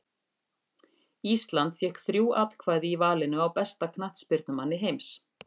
Ísland fékk þrjú atkvæði í valinu á besta knattspyrnumanni heims.